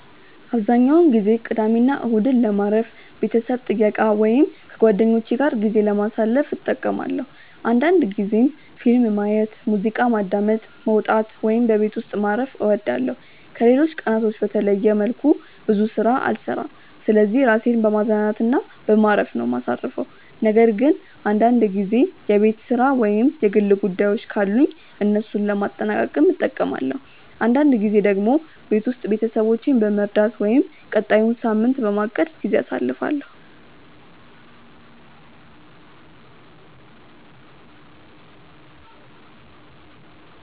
አብዛኛውን ጊዜ ቅዳሜና እሁድን ለማረፍ፣ ቤተሰብ ጥየቃ ወይም ከጓደኞቼ ጋር ጊዜ ለማሳለፍ እጠቀማለሁ አንዳንድ ጊዜም ፊልም ማየት፣ ሙዚቃ ማዳመጥ፣ መውጣት ወይም በቤት ውስጥ ማረፍ እወዳለሁ። ከሌሎች ቀናቶች በተለየ መልኩ ብዙ ስራ አልሰራም ስለዚህ ራሴን በማዝናናት እና በማረፍ ነው ማሳርፈው ነገር ግን አንዳንድ ጊዜ የቤት ስራ ወይም የግል ጉዳዮችን ካሉኝ እነሱን ለማጠናቀቅም እጠቀማለሁ። አንዳንድ ጊዜ ደግሞ ቤት ውስጥ ቤተሰቦቼን በመርዳት ወይም ቀጣዩን ሳምንት በማቀድ ጊዜ አሳልፋለሁ።